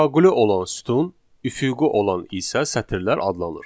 Şaquli olan sütun, üfüqi olan isə sətirlər adlanır.